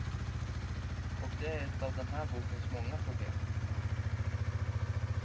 Och det är ett av den här bokens många problem.